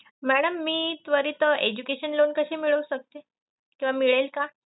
Madam मी त्वरित education loan कसे मिळवू शकते किंवा मिळेल का?